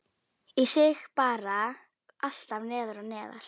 Ég síg bara alltaf neðar og neðar